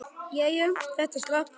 Jæja, þetta slapp.